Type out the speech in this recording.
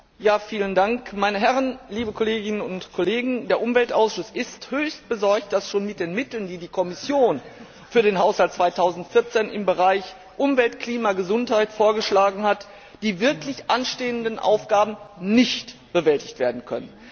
Herr Präsident, meine Herren, liebe Kolleginnen und Kollegen! Der Umweltausschuss ist höchst besorgt, dass schon mit den Mitteln, die die Kommission für den Haushalt 2014 im Bereich Umwelt, Klima, Gesundheit vorgeschlagen hat, die wirklich anstehenden Aufgaben nicht bewältigt werden können.